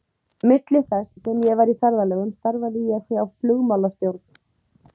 Milli þess sem ég var í ferðalögum starfaði ég hjá flugmálastjórn.